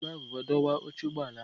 Ejighị m agụba dọwa oche ụgbọ ala ahụ.